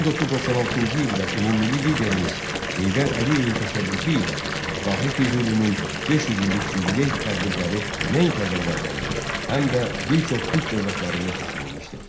1996-cı ildə ümummilli liderimiz Heydər Əliyevin təşəbbüsü ilə Dahi Füzulinin 500 illik yubiley tədbirləri nəinki Azərbaycanda, həm də bir çox türk dövlətlərində keçirilmişdir.